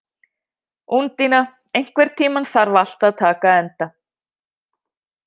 Úndína, einhvern tímann þarf allt að taka enda.